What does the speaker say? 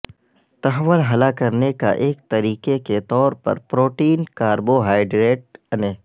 تحول ہلا کرنے کا ایک طریقہ کے طور پر پروٹین کاربوہائڈریٹ انے